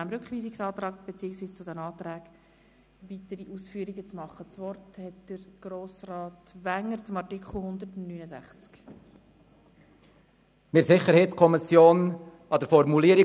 der SiK. Wir haben in der SiK Änderungen an der Formulierung des Artikels 169 diskutiert.